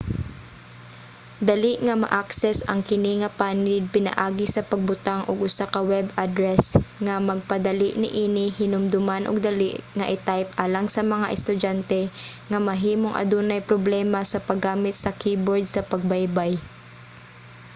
dali nga ma-access ang kini nga panid pinaagi sa pagbutang og usa ka web address nga magpadali niini hinumdoman ug dali nga i-type alang sa mga estudyante nga mahimong adunay problema sa paggamit sa keyboard o sa pagbaybay